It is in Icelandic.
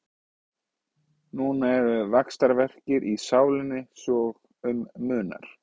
Núna eru vaxtarverkir í sálinni svo um munar.